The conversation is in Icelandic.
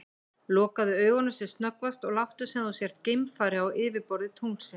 Lokaðu augunum sem snöggvast og láttu sem þú sért geimfari á yfirborði tunglsins.